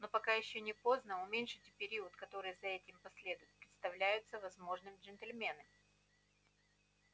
но пока ещё не поздно уменьшить период который за этим последует представляется возможным джентльмены